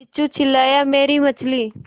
किच्चू चिल्लाया मेरी मछली